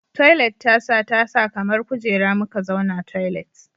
Toilet tasa tasa kamar kujera muka zauna toilet